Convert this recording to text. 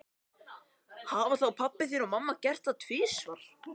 Hafa þá pabbi þinn og mamma gert það tvisvar?